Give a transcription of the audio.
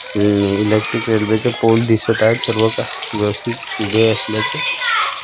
हे electric railway च pole दिसत आहे सर्व व्यवस्थित उभे असल्याचे--